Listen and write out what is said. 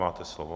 Máte slovo.